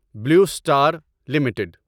blue Star limited